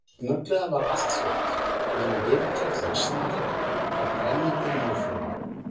Snögglega varð allt hljótt, nema vingjarnlegt snark frá brennandi móflögum.